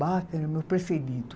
Bach que era o meu preferido.